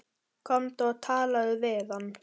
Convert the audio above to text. Komdu og talaðu við hann!